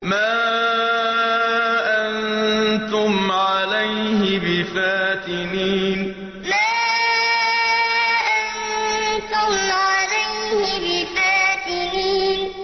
مَا أَنتُمْ عَلَيْهِ بِفَاتِنِينَ مَا أَنتُمْ عَلَيْهِ بِفَاتِنِينَ